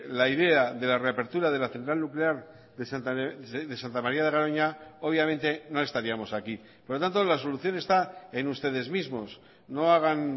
la idea de la reapertura de la central nuclear de santa maría de garoña obviamente no estaríamos aquí por lo tanto la solución está en ustedes mismos no hagan